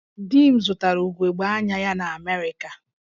Di m zụtara ugogbe anya ya na Amerịka